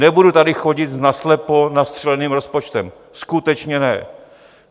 Nebudu tady chodit s naslepo nastřeleným rozpočtem, skutečně ne.